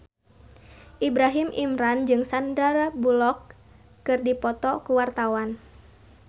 Ibrahim Imran jeung Sandar Bullock keur dipoto ku wartawan